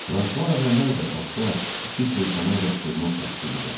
Fransua əvvəllər də Baxda iki şeytanın yatdığını təsdiq edər.